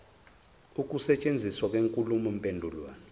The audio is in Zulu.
ukusetshenziswa kwenkulumo mpendulwano